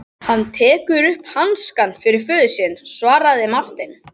Hann tekur upp hanskann fyrir föður sinn, svaraði Marteinn.